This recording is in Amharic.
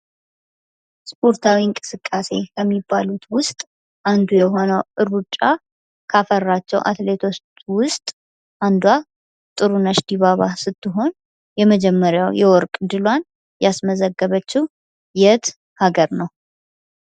ስፖርታዊ እንቅስቃሴ ከሚባሉት ውስጥ አንዱ የሆነው ሩጫ ካፈራቸው አትሌቶች ውስጥ አንዷ ጥሩነሽ ድባባ ስትሆን የመጀመሪያው የወርቅ እድሏን ያስመዘገበችው የት ሀገር ነው?